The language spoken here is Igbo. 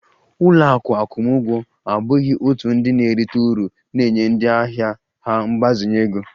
Ụlọ akụ akwụmụgwọ abụghị òtù ndị na-erite uru na-enye ndị ahịa ha mgbazinye ego